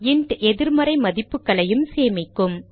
int எதிர் மறை மதிப்புகளையும் சேமிக்கும்